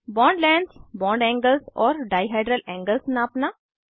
bond lengths bond angles और dihedral angles नापना